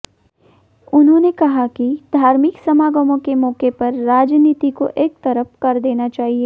उन्होंने कहा कि धार्मिक समागमों के मौके पर राजनीति को एक तरफ़ कर देना चाहिए